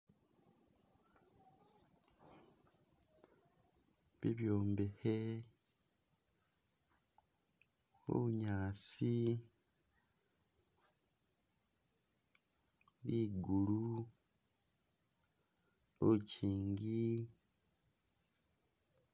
bibyo mbehe, bunyaasi, ligulu, lukyingi